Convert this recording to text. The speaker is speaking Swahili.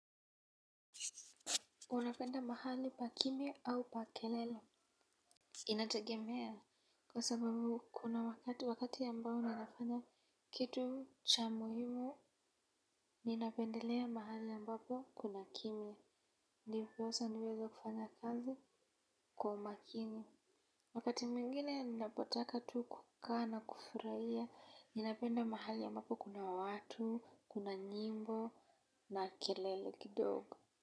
Unapenda mahali pa kimya au pa kelele Inategemea kwa sababu kuna wakati ambao ninafanya kitu cha muhimu. Ninapendelea mahali ambao kuna kimya ndiyo posa niweze kufanya kazi kwa umakini. Wakati mwingine ninapotaka tu kukaa na kufurahia. Ninapenda mahali ambapo kuna watu, kuna nyimbo na kelele kidogo.